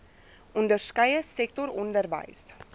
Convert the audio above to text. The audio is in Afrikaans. onderskeie sektor onderwys